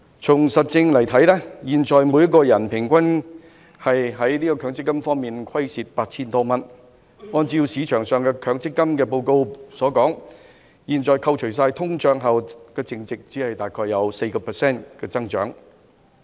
從事實看來，現時每人平均就強積金虧蝕 8,000 多元，市場上的強積金報告指出，現時強積金在扣除通脹後的淨值，只有大約 4% 的增長。